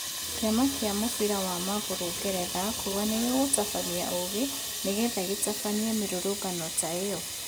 Kĩama gĩa mũbira wa magũrũ Ngeretha kuga nigĩkũhũthĩra 'ũgĩ' nĩgetha gĩtabanie mĩrũrũngano ta ĩyo.